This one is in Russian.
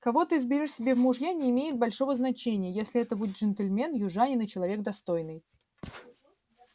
кого ты изберёшь себе в мужья не имеет большого значения если это будет джентльмен южанин и человек достойный